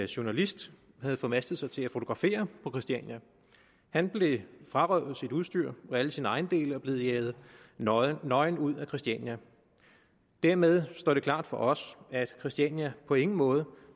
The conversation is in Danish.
journalist havde formastet sig til at fotografere på christiania han blev frarøvet sit udstyr og alle sine ejendele og blev jaget nøgen nøgen ud af christiania dermed står det klart for os at christiania på ingen måde